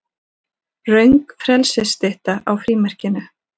Röng frelsisstytta á frímerkinu